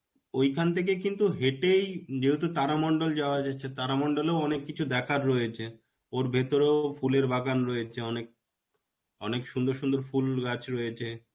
ঐখান থেকে কিন্তু হেটেই যেহেতু তারা মন্ডল যাওয়া যাচ্ছে তারা মন্দলেও অনেক কিছু দেখার রয়েছে. ওর ভেতরেও ফুলের বাগান রয়েছে অনেক. অনেক সুন্দর সুন্দর ফুল গাছ রয়েছে.